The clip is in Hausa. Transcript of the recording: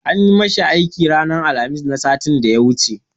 An yi ma shi aiki ranar Alhamis na satin da ya wuce.